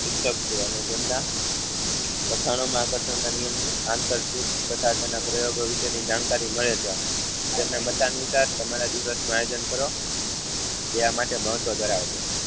શિક્ષક છે અને જેમના વખાનો માં આકર્ષણ નિયમની આંતરસૂઝ તથા તેના પપ્રયોગો વિશેની જાણકારી મળે છે તેમના મતાનુસાર તમારા ડીવોશનું આયોજન કરો તેના માટે મહત્વ ધરાવે છે.